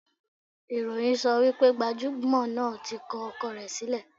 Ìròyìn sọ wípé gbajúmò náà tí kọ ọkọ rẹ̀ sílẹ̀.